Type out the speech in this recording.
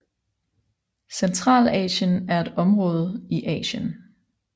Centralasien er et område i Asien